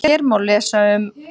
Hér má lesa um